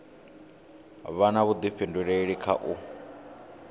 vha na vhuḓifhinduleli kha u